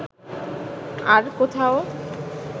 আর কোথাও